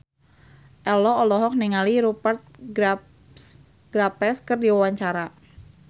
Ello olohok ningali Rupert Graves keur diwawancara